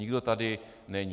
Nikdo tady není.